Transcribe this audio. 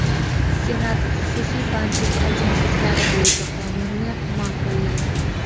Senat xususiy bandlik agentliklari bo‘yicha qonunni ma’qulladi.